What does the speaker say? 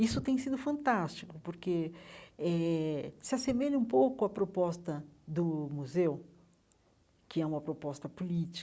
Isso tem sido fantástico, porque eh se assemelha um pouco à proposta do museu, que é uma proposta